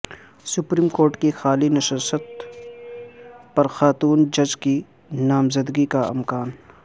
supreme court کی خالی نشست پر خاتون جج کی نامزدگی کا امکان